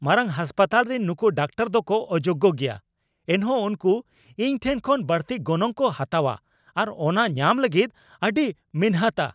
ᱢᱟᱨᱟᱝ ᱦᱟᱥᱯᱟᱛᱟᱞ ᱨᱤᱱ ᱱᱩᱠᱩ ᱰᱟᱠᱛᱟᱨ ᱫᱚᱠᱚ ᱚᱡᱳᱜᱽ ᱜᱮᱭᱟ, ᱮᱱᱦᱚᱸ ᱩᱱᱠᱩ ᱤᱧ ᱴᱷᱮᱱ ᱠᱷᱚᱱ ᱵᱟᱹᱲᱛᱤ ᱜᱚᱱᱚᱝ ᱠᱚ ᱦᱟᱛᱟᱣᱟ ᱟᱨ ᱚᱱᱟ ᱧᱟᱢ ᱞᱟᱹᱜᱤᱫ ᱟᱹᱰᱤ ᱢᱤᱱᱦᱟᱹᱛᱟ ᱾